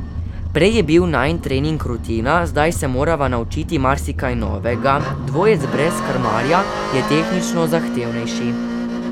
Prej je bil najin trening rutina, zdaj se morava naučiti marsikaj novega, dvojec brez krmarja je tehnično zahtevnejši.